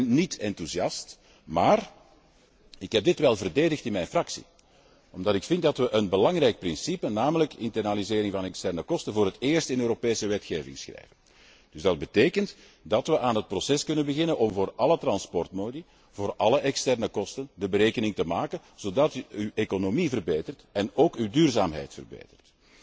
Ik ben niet enthousiast maar ik heb dit wel verdedigd in mijn fractie omdat we een belangrijk principe, namelijk internalisering van externe kosten, voor het eerst in Europese wetgeving schrijven. Dat betekent dat we aan het proces kunnen beginnen om voor alle transportmodi voor alle externe kosten de berekening te maken zodat uw economie verbetert, en ook uw duurzaamheid verbetert.